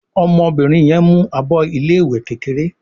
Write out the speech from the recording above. ọmọbìnrin yén mú àbọ ilé ìwé kékeré